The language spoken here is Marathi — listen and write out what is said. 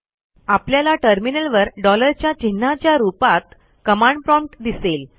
आपल्याला टर्मिनलवर डॉलरच्या चिन्हाच्या रूपात कमांड प्रॉम्प्ट दिसेल